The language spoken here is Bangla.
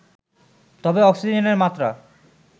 তবে অক্সিজেনের মাত্রা